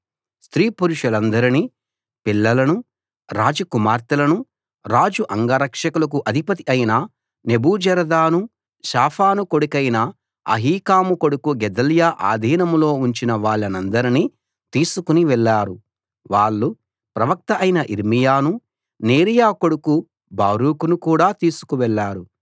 స్త్రీ పురుషులనందరినీ పిల్లలనూ రాజ కుమార్తెలనూ రాజు అంగరక్షకులకు అధిపతి అయిన నెబూజరదాను షాఫాను కొడుకైన అహీకాము కొడుకు గెదల్యా ఆధీనంలో ఉంచిన వాళ్ళనందరినీ తీసుకుని వెళ్ళారు వాళ్ళు ప్రవక్త అయిన యిర్మీయానూ నేరీయా కొడుకు బారూకును కూడా తీసుకు వెళ్ళారు